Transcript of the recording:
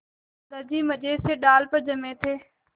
दादाजी मज़े से डाल पर जमे थे